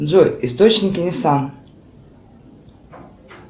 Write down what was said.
джой источники ниссан